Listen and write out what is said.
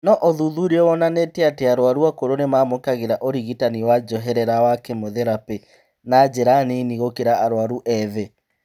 No ũthuthuria wonanĩtie atĩ arwaru akũrũ nĩmamũkagĩra ũrigitani wa njoherera wa kemotherapĩ na njĩra nini gũkĩra arwaru ethĩ